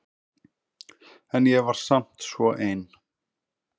En ég var samt svo ein.